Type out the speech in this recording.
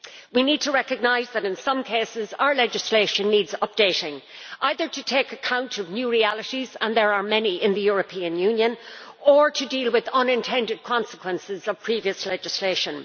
We need to recognise that in some cases our legislation needs updating, either to take account of new realities and there are many in the European Union or to deal with the unintended consequences of previous legislation.